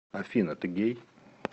афина ты гей